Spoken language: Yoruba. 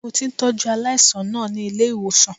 Ṣé o ti ń tọ́jú aláàìsàn náà ní ilé-ìwòsàn?